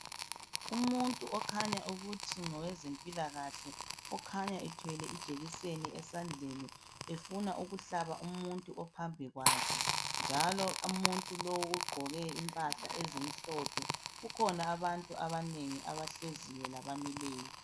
Umuntu okhanya ukuthi ngowezempilakahle . Okhanya ethwele ijekiseni esandleni efuna ukuhlaba umuntu ophambi kwakhe . Njalo umuntu lowu ugqoke impahla ezimhlophe. Kukhona abantu abanengi abahleziyo labamileyo.